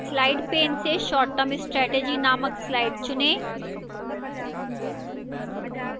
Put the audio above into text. slides pane से short term strategy नामक slide चुनें